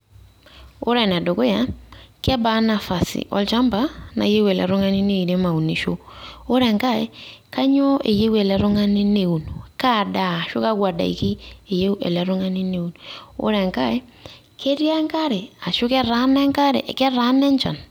Ore ene dukuya kebaa nafasi olchamba nayieu ele tung`ani neirem aunisho. Ore enkae kainyio eyieu ele tung`ani neun, kaa daa ashu kakwa daiki eyieu ele tung`ani neun, ore nkae ketii enkare ashu ketaana enk ashu ketaana enchan.